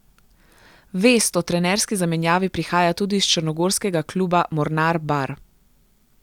Vest o trenerski zamenjavi prihaja tudi iz črnogorskega kluba Mornar Bar.